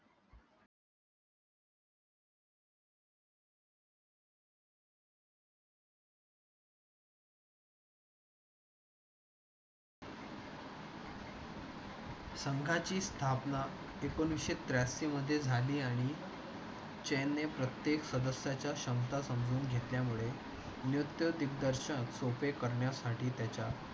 संघाची स्थापना एकोणीसशे त्रेंशीमध्ये आली. चानने प्रत्येक सदस्याच्या शंका समजून घेतल्यामुळे नृत्य दिग्दर्शन सोपे करण्यासाठी त्याच्या